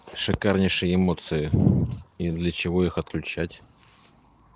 шикарнейшие эмоции и для чего их отключать